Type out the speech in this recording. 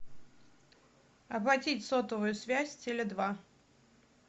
оплатить сотовую связь теле два